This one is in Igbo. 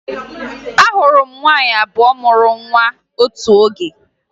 Ahụrụ m nwaanyị abụọ mụrụ nwa otu oge